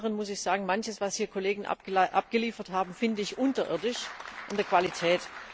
Zum anderen muss ich sagen, manches, was Kollegen hier abgeliefert haben, finde ich unterirdisch in der Qualität.